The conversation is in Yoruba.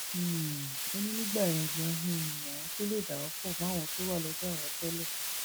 um ó ní nígbà yẹn ganan um làwọn tóo lè dà wọn pọ mọ àwọn tó wà lọdọ àwọn tẹlẹ